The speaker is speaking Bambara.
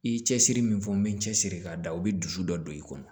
I ye cɛsiri min fɔ n bɛ cɛsiri ka da o bɛ dusu dɔ don i kɔnɔ